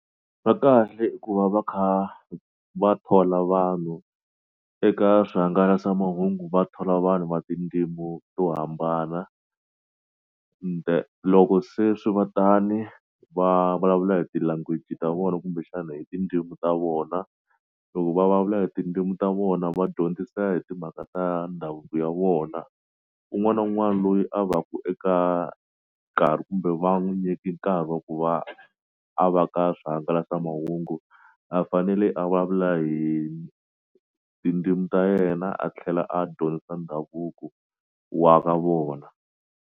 Va kahle i ku va va kha va thola vanhu eka swihangalasamahungu va thola vanhu va tindzimu to hambana loko se swi va tani va vulavula hi ti-language ta vona kumbexana hi tindzimi ta vona loko va vulavula hi tindzimu ta vona va dyondzisa hi timhaka ta ndhavuko ya vona un'wana na un'wana loyi a va ku eka nkarhi kumbe va n'wu nyiki nkarhi wa ku va a va ka swihangalasamahungu a fanele a vulavula hi tindzimi ta yena a tlhela a dyondzisa ndhavuko wa ka vona.